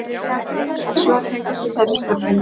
Sömu svör fengust við þeirri spurningu